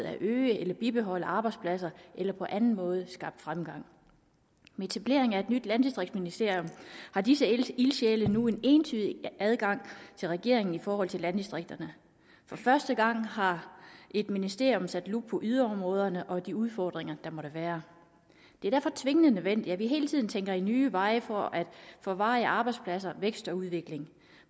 at øge eller bibeholde arbejdspladser eller på anden måde skabe fremgang med etableringen af et nyt landdistriktsministerium har disse ildsjæle nu en entydig adgang til regeringen i forhold til landdistrikterne for første gang har et ministerium sat lup på yderområderne og de udfordringer der måtte være det er derfor tvingende nødvendigt at vi hele tiden tænker i nye veje for at få varige arbejdspladser vækst og udvikling